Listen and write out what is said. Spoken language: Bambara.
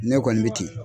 Ne kɔni bɛ ten